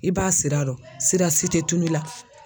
I b'a sira dɔn sira si tɛ tunun i la.